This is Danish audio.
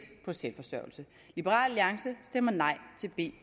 på selvforsørgelse liberal alliance stemmer nej til b